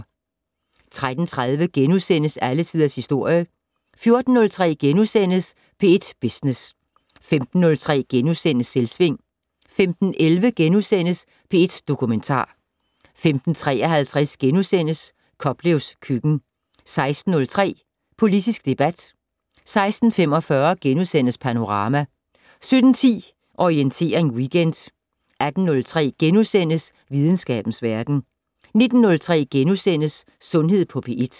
13:30: Alle Tiders Historie * 14:03: P1 Business * 15:03: Selvsving * 15:11: P1 Dokumentar * 15:53: Koplevs køkken * 16:03: Politisk debat 16:45: Panorama * 17:10: Orientering Weekend 18:03: Videnskabens Verden * 19:03: Sundhed på P1 *